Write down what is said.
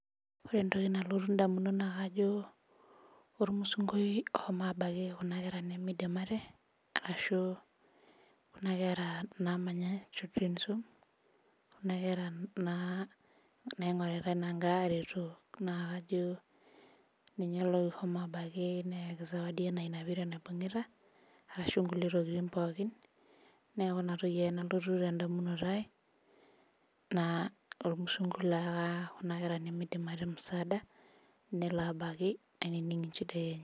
ore entoki nalotu idamunot naa olashumbai oshomo airorokira naa manya children home, kuna kera naa nagirai aretoo nakajo ninye loshomo abaki ayaki zawadi enaa enadolita neeku inatoki ake nalotu idamunot ainei nelo abaki ainining inchidail.